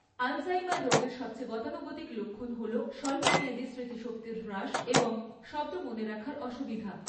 Alzheimer রোগের সবচেয়ে গতানুগতিক লক্ষণ হল স্বল্পমেয়াদী স্মৃতিশক্তির হ্রাস এবং শব্দ মনে রাখার অসুবিধা।